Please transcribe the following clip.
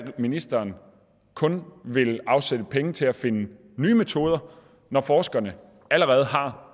ministeren kun vil afsætte penge til at finde nye metoder når forskerne allerede har